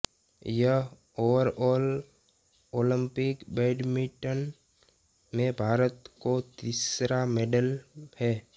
यह overall Olympic badminton में भारत को तीसरा मेडल है